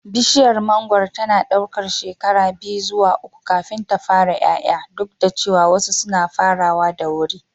Bishiyar mangoro tana ɗaukar shekara biyu zuwa uku kafin ta fara ƴaƴa, duk da cewa wasu suna farawa da wuri.